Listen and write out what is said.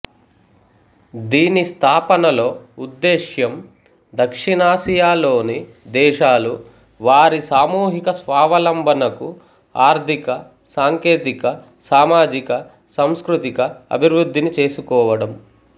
దీని స్థాపనలో ఉద్దేశ్యం దక్షిణాసియాలోని దేశాలు వారి సామూహిక స్వావలంబనకు ఆర్థిక సాంకేతిక సామాజిక సాంస్కృతిక అభివృద్ధిని చేసుకోవడం